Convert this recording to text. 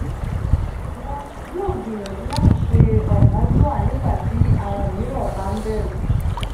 iwo yoo gbiyanju lati se okanjua nigbati awon miiran ba nberu.